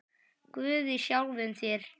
Guð í sjálfum þér.